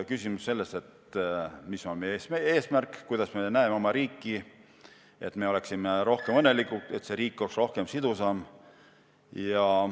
Küsimus on selles, mis on meie eesmärk, millisena me näeme oma riiki, et me oleksime rohkem õnnelikud, et see riik oleks rohkem sidus.